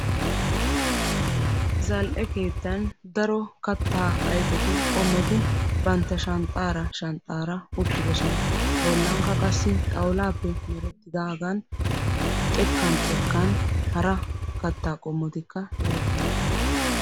Zal'ee keettan daro katta ayfettu qomotti shanxxan uttidosonna. Qassikka hara katta ayfe qomotti de'osonna.